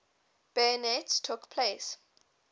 bayonets took place